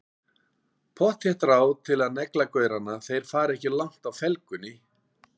Pottþétt ráð til að negla gaurana, þeir fara ekki langt á felgunni!